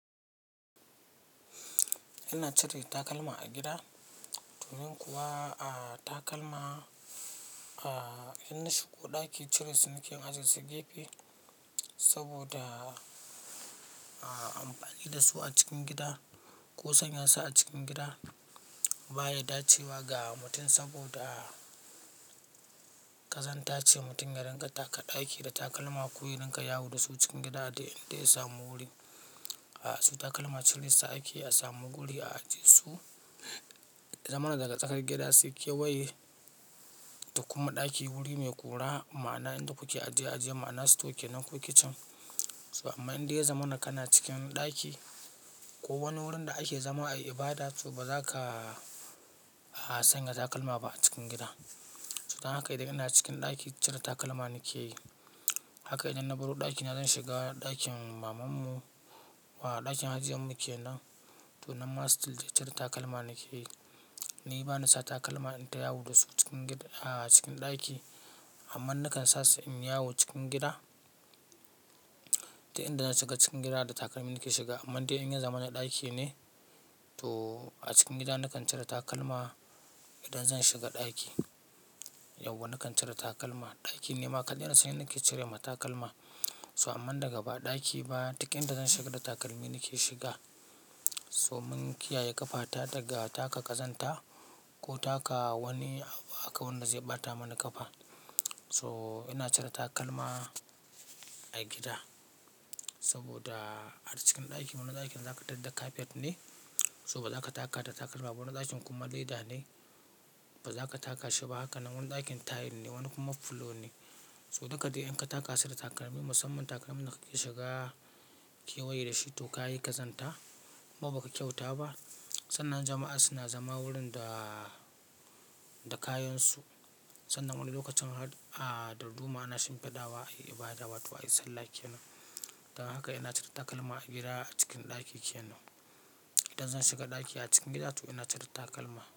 Ina cire takalma a gida domin kuwa a takalma, a in na shigo ɗaki cire su nake in ajiye su gefe saboda a amfani da su a cikin gida ko sanya su a cikin gida baya dacewa ga mutum saboda ƙazanta ce mutum ya dinga taka ɗaki da takalma ko ya dinga yawo da su cikin gida inda ya samu wuri. A so takalma cire su a ake, a samu guri a ajiye su. Ya zamans daga tsakar gida sai kewaye da kuma ɗaki wuri mai kuraa ma'ana inda kuke ajiye-ajiye ma'ana store ke nan ko kitchen. So amma inda ya zama naka na cikin ɗaki ko wani wurin da ake zama a ibada so ba za ka sanya takalma ba a cikin gida. So dan haka idan ina cikin ɗaki cire takalma nake yi. Haka idan na baro ɗakina zan shiga ɗakin mamanmu wa ɗakin hajiya muke nan to nan ma still duk cire takalma nake yi. Ni bani sa takalma in ta yawo da su cikin gida a cikin ɗaki amma nakan sace in yawo cikin gida. To inda na shiga cikin gida da takalmi nake shiga amma dai in zan zama na ɗaki ne to a cikin gida na kan cire takalma. Idan zan shiga ɗaki yauwa na kan cire takalma. Ɗaki ne ma kadai nake cirema takalma. So amma daga ba ɗaki ba, duk inda zan shiga da takalmi nake shiga. So mun kiyaye ƙafata daga taka ƙazanta ko taka wani abu haka wanda zai ɓata mana ƙafa. So ina cire takalma a gida saboda a cikin ɗakin mu wani ɗakin za ka tadda cafet ne so ba za ka taka ta takalma ba. Wani ɗakin kuma leda ne ba za ka taka shi ba haka nan wani ɗakin tiles ne wani kuma flour ne. So duka dai in ka taka su da takalmi, musamman takalman da kake shiga kewaye da shi ko ka yi ƙazanta kuma ba ka kyauta ba. Sannan jama'a suna zama wurin da da kayansu sannan wani lokacin har a da ruma ana shimfiɗawa a ibada wato a yi sallah kenan. Dan haka ina cire takalma a gida a cikin ɗaki kenan. Idan zan shiga ɗaki a cikin gida to ina cire takalma.